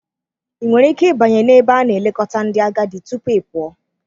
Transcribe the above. Ị nwere ike ịbanye na ebe a na-elekọta ndị agadi tupu ị pụọ?